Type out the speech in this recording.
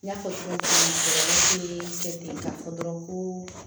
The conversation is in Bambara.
N y'a fɔ cogo min na bi k'a fɔ dɔrɔn ko